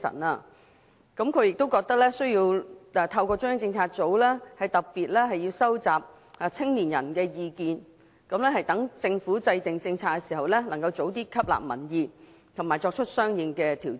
她亦認為需要透過中央政策組特別收集青年人的意見，讓政府在制訂政策時能及早吸納民意，並作出相應的調整。